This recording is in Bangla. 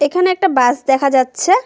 এখানে একটা বাস দেখা যাচ্ছে।